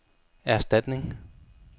erstatning